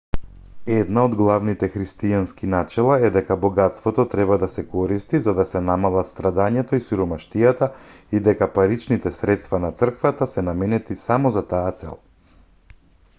една од главните христијански начела е дека богатството треба да се користи за да се намалат страдањето и сиромаштијата и дека паричните средства на црквата се наменети само за таа цел